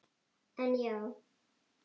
En já.